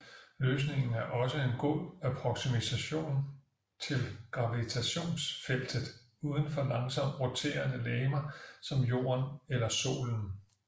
Løsningen er også en god approksimation til gravitationsfeltet uden for langsomt roterende legemer som jorden eller solen